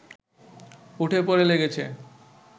উঠে পড়ে লেগেছে